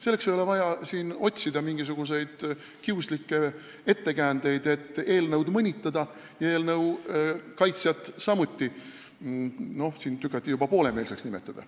Selleks ei ole vaja siin otsida mingisuguseid kiuslikke ettekäändeid, et eelnõu, samuti tema kaitsjat mõnitada, teda tükati juba poolemeelseks nimetada.